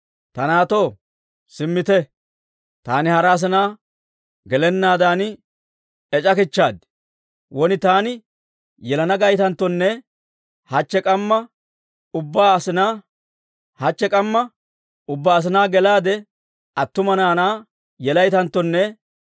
Ta naatto, simmite; taani hara asinaa gelennaadan ec'akichaad. Won taani yelana gaytanttone, hachche k'amma ubbaa asinaa gelaade, attuma naanaa yelaytanttone,